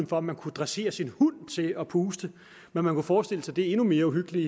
for at man kunne dressere sin hund til at puste men man kunne forestille sig det endnu mere uhyggelige